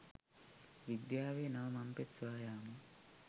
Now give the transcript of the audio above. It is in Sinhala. විද්‍යාවේ නව මංපෙත් සොයා යාම